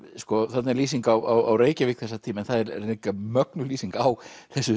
þarna er lýsing á Reykjavík þessa tíma en það er líka mögnuð lýsing á þessu